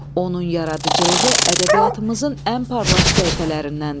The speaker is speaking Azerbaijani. Onun yaradıcılığı ədəbiyyatımızın ən parlaq səhifələrindəndir.